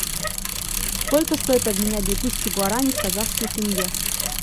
сколько стоит обменять две тысячи гуарани в казахский тенге